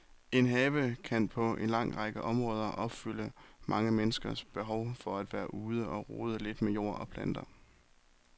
En have kan på en lang række områder opfylde mange menneskers behov for at være ude og rode lidt med jord og planter.